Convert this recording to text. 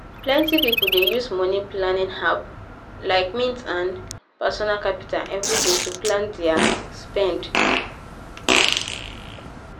plenty people dey use money-planning apps like mint and personal capital every day to plan their spend.